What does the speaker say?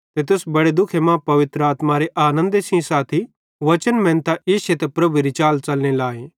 ते तुस बड़े दुखे मां पवित्र आत्मारे आनन्दे सेइं साथी वचने मेनतां इश्शे ते प्रभुएरी चाल च़लने लाए